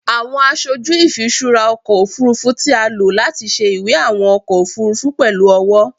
Awọn aṣoju ifiṣura ọkọ ofurufu ti a lo lati ṣe iwe awọn ọkọ ofurufu pẹlu ọwọ